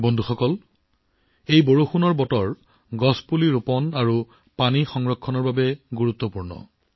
বন্ধুসকল বৰষুণৰ এই সময়ছোৱাত বৃক্ষৰোপণ আৰু জল সংৰক্ষণৰ বাবেও সমানেই গুৰুত্বপূৰ্ণ